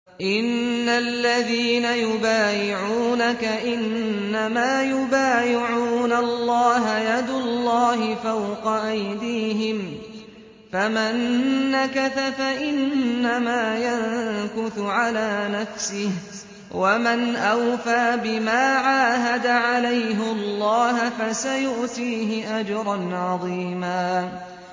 إِنَّ الَّذِينَ يُبَايِعُونَكَ إِنَّمَا يُبَايِعُونَ اللَّهَ يَدُ اللَّهِ فَوْقَ أَيْدِيهِمْ ۚ فَمَن نَّكَثَ فَإِنَّمَا يَنكُثُ عَلَىٰ نَفْسِهِ ۖ وَمَنْ أَوْفَىٰ بِمَا عَاهَدَ عَلَيْهُ اللَّهَ فَسَيُؤْتِيهِ أَجْرًا عَظِيمًا